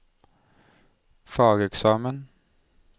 fageksamen